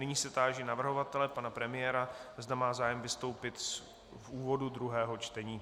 Nyní se táži navrhovatele, pana premiéra, zda má zájem vystoupit v úvodu druhého čtení.